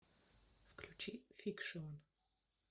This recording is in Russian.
включи фикшн